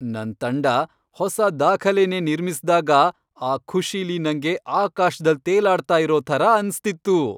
ನನ್ ತಂಡ ಹೊಸ ದಾಖಲೆನೇ ನಿರ್ಮಿಸ್ದಾಗ ಆ ಖುಷಿಲಿ ನಂಗೆ ಆಕಾಶ್ದಲ್ ತೇಲಾಡ್ತಾ ಇರೋ ಥರ ಅನ್ಸ್ತಿತ್ತು.